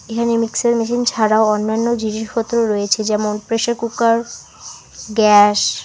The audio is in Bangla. এখানে মিক্সার মেশিন ছাড়াও অন্যান্য জিনিসপত্রও রয়েছে যেমন প্রেসার কুকার গ্যাস ।